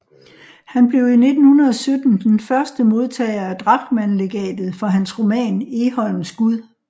Han blev i 1917 den første modtager af Drachmannlegatet for hans roman Egholms gud